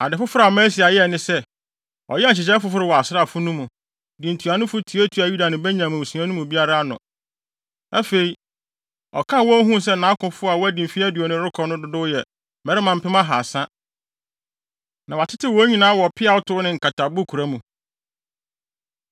Ade foforo a Amasia yɛe ne sɛ, ɔyɛɛ nhyehyɛe foforo wɔ asraafo no mu, de ntuanofo tuatuaa Yuda ne Benyamin mmusua no mu biara ano. Afei, ɔkan wɔn huu sɛ nʼakofo a wɔadi mfe aduonu rekɔ no dodow yɛ mmarima mpem ahaasa, na wɔatetew wɔn nyinaa wɔ peawtow ne nkatabokura mu.